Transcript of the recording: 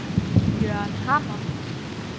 Jørgen Hammer